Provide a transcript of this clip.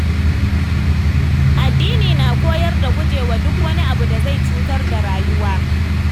Addini na koyar da gujewa duk wani abu da zai cutar da rayuwa.